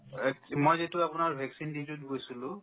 অ, মই যিটো আপোনাৰ vaccine duty ত গৈছিলো